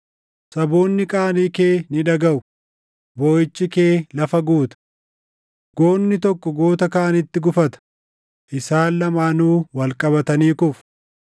Saboonni qaanii kee ni dhagaʼu; booʼichi kee lafa guuta. Goonni tokko goota kaanitti gufata; isaan lamaanuu wal qabatanii kufu.”